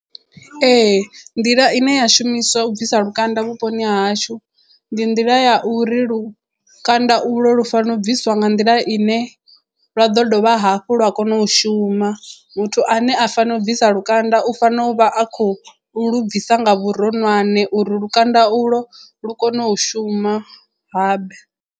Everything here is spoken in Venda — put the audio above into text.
Ee nḓila ine ya shumiswa u bvisa lukanda vhuponi ha hashu ndi nḓila ya uri lukanda ulo lu fanele u bviswa nga nḓila ine lwa ḓo dovha hafhu lwa kona u shuma muthu ane a fanela u bvisa lukanda u fanela u vha a khou lu bvisa nga vhuronwane uri lukanda u lwo lu kone u shuma habe.